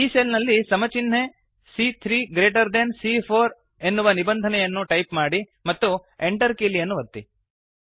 ಈ ಸೆಲ್ ನಲ್ಲಿ ಸಮ ಚಿನ್ಹೆ ಸಿಎ3 ಗ್ರೇಟರ್ ದೆನ್ ಸಿಎ4 ಎನ್ನುವ ನಿಬಂಧನೆಯನ್ನು ಟೈಪ್ ಮಾಡಿ ಮತ್ತು Enter ಕೀಲಿಯನ್ನು ಒತ್ತಿ